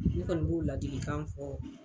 Ne kɔni b'o ladilikan fɔ.